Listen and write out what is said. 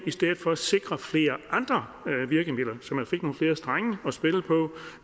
i stedet for sikre flere andre virkemidler så man fik nogle flere strenge at spille på